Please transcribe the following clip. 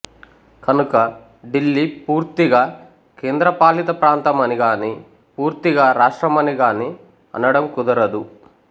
కనుక ఢిల్లీ పూర్తిగా కేంద్రపాలిత ప్రాంతమనిగాని పూర్తిగా రాష్ట్రమనిగాని అనడం కుదరదు